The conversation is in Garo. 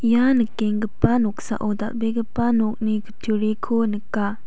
ia nikenggipa noksao dal·begipa nokni kutturiko nika.